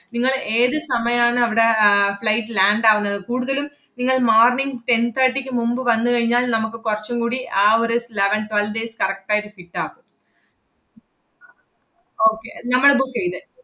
നിങ്ങള് ഏത് സമയാണ് അവടെ ആഹ് flight land ആവുന്നത്, കൂടുതലും നിങ്ങൾ morning ten thirty ക്ക് മുമ്പ് വന്നു കഴിഞ്ഞാൽ നമ്മക്ക് കൊറച്ചും കൂടി ആ ഒരു eleven twelve days correct ആയിട്ട് കിട്ടാം. okay നമ്മള് book ചെയ്ത്,